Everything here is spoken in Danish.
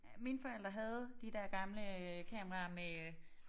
Mine forældre havde de der gamle øh kameraer med